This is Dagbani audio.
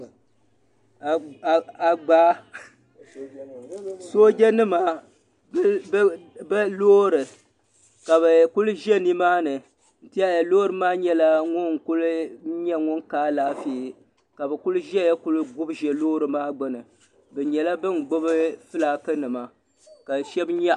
Agbaa sooja nima bi loori ka bi kuli ʒɛ ni maa ni n tiɛhi ya loori maa nyɛla ŋun kuli ka alaafee ka bi kuli ʒɛya kuli gubi ʒɛ loori maa gbuni bi nyɛla bin gbubi filaaki nima ka shɛba nyaɣi.